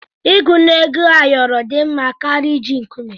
Ịgụ na Ego ayoro dị mma karịa iji nkume.